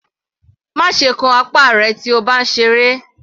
Má ṣe kán apá rẹ̀ tí o bá ń ṣe eré.